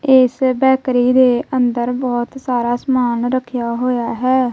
ਇਸ ਬੈਕਰੀ ਦੇ ਅੰਦਰ ਬਹੁਤ ਸਾਰਾ ਸਮਾਨ ਰੱਖਿਆ ਹੋਇਆ ਹੈ।